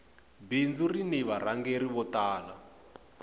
bindzu rini varhangeri vo tala